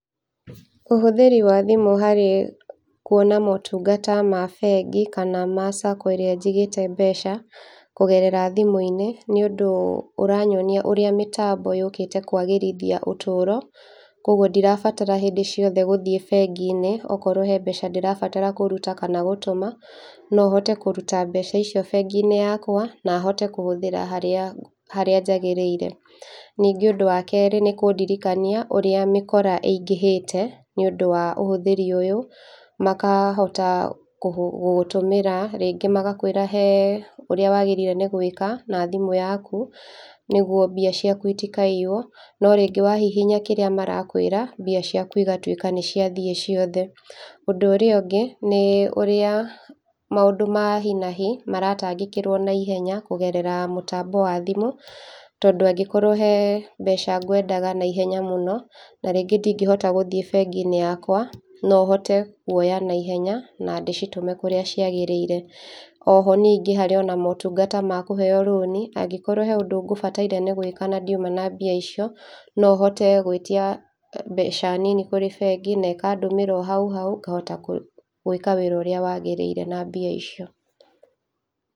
Ũhũthĩri wa thimũ harĩ kwona motungata ma bengi kana ma sacco ĩrĩa njigĩte mbeca kũgerera thimũ-inĩ nĩũndũ ũranyonia ũrĩa mĩtambo yũkĩte kwagĩrithia ũtũro, kwoguo ndirabatara hĩndĩ ciote gũthiĩ bengi-inĩ okorwo he mbeca ndirabatara kũruta kana gũtũma, no hote kũruta mbeca icio bengi-inĩ yakwa na hote kũhũthĩra harĩa harĩa njagĩrĩire. Ũndũ wa kerĩ nĩkũndirikania ũrĩa mĩkora ĩingĩhĩte nĩũndũ wa ũhũthĩri ũyũ makahota kũhũ gũgũtũmĩra rĩngĩ magakwĩra he ũrĩa wagĩrĩirwo nĩ gwĩka na thimũ yaku nĩguo mbia ciaku itikaiywo, no rĩngĩ wahihinya kĩrĩa marakwĩra mbia ciaku igatwĩka nĩciathiĩ ciothe. Ũndũ ũria ũngĩ nĩ ũrĩa maũndũ ma hi na hi maratangĩkĩrwo na ihenya kũgerera mũtambo wa thimũ tondũ angĩkorwo he mbeca ngwendaga na henya mũno na rĩngĩ ndingĩhota gũkinya bengi-inĩ yakwa no hote kwoya naihenya na ndĩcitume kũrĩa ciagĩrĩire. Oho ningĩ harĩo na motungata ma kũheo loan, angĩkorwo hena maũndũ ngũbataire nĩ gwĩka na ndiuma na mbia icio no hote gwĩtia mbeca nini kũrĩ bengi na ĩkandũmĩra o hau hau ngahota kũ gwĩka wĩra ũrĩa wagĩrĩire na mbia icio.